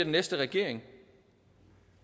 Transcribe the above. næste regering